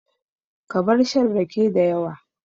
Ka bar shan rake dayawa